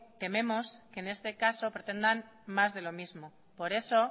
tememos que en este caso pretendan más de lo mismo por eso